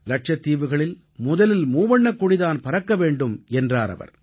லட்சத்தீவுகளில் முதலில் மூவண்ணக்கொடி தான் பறக்க வேண்டும் என்றார் அவர்